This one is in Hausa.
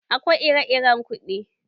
Akwai ire-iren kuɗi.